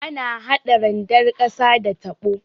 Ana hada randar ƙasa da tabo.